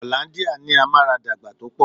Hollandia ní amaradagba tó pọ̀.